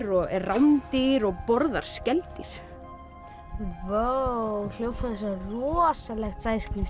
og er ránddýr og borðar skeldýr vá hljómar eins og rosalegt